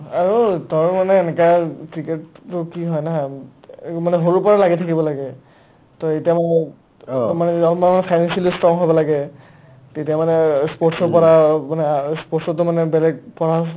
আৰু তাৰ মানে এনেকা cricket কি হয় নহয় এই মানে সৰুৰ পৰা লাগি থাকিব লাগে to এইতা মানে to মানে আমাৰ financially strong হ'ব লাগে তেতিয়া মানে অ sports ৰ পৰা অ' মানে অ' sports to মানে বেলেগ পঢ়াচ